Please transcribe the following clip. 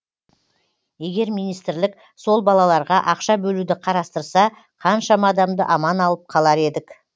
егер министрлік сол балаларға ақша бөлуді қарастырса қаншама адамды аман алып қалар едік